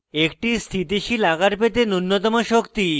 একটি স্থিতিশীল আকার পেতে নুন্যতম শক্তি